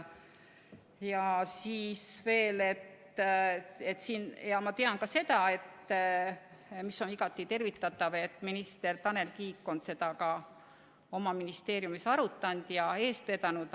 Ma tean ka seda ja on igati tervitatav, et minister Tanel Kiik on seda ka oma ministeeriumis arutanud ja eest vedanud.